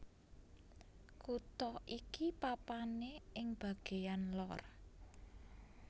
Kutha iki papané ing bagéyan lor